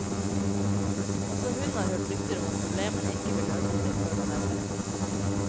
Også hun har hørt rykter om at problemene ikke vil løse seg før november.